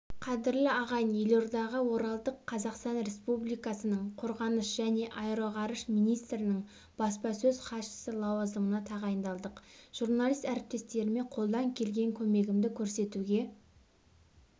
қадірлі ағайын елордаға оралдық қазақстан республикасының қорғаныс және аэроғарыш министрінің баспасөз іатшысы лауазымына тағайындалдық журналист әріптестеріме қолдан келген көмегімді көрсетуге